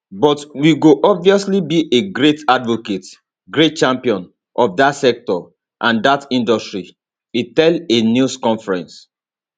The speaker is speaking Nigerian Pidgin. but we go obviously be a great advocate great champion of dat sector and dat industry e tell a news conference